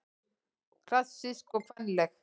Klassísk og kvenleg